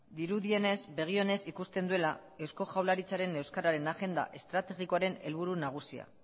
dirudienez begi onez ikusten duela eusko jaurlaritzaren euskararen agenda estrategikoaren helburu nagusia